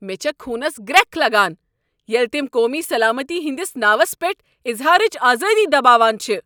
مےٚ چھےٚ خونس گرٛکھ لگان ییٚلہ تم قومی سلامتی ہنٛدس ناوس پیٹھ اظہارٕچ آزٲدی دباوان چھ۔